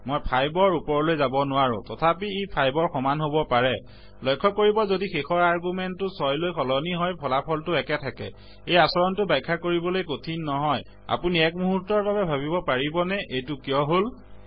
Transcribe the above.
মই 5ৰ ওপৰলৈ যাব নোৱাৰো তথাপি ই 5ৰ সমান হব পাৰে লক্ষ্য কৰিব যদি শেষৰ আৰগুমেন্তটো 6লৈ সলনি হয় ফলাফলটো একে থাকে এই আচৰনটো ব্যাখ্যা কৰিবলৈ কঠিন নহয় আপুনি এক মূহুৰ্তৰ বাবে ভাবিবপাৰিবনে এইটো কিয় হল